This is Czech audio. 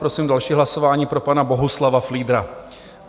Prosím další hlasování pro pana Bohuslava Fliedra.